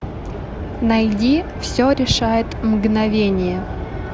найди все решает мгновение